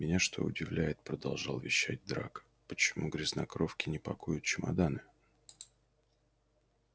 меня что удивляет продолжал вещать драко почему грязнокровки не пакуют чемоданы